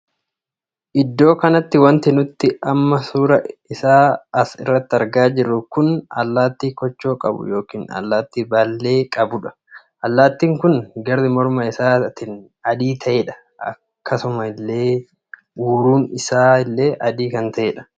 Iddoo kanatti wanti nuti amma suuraa isaa asi irratt argaa jiru kun allaattii koochoo qabuu ykn allaattii baallee qabuudha. allattiin kun garri morma isaatiin adii taheedha. akkasuma illee uruun isaa illee adii kan tahedha.